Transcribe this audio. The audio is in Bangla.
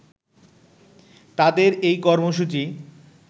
তাদের এই কর্মসূচি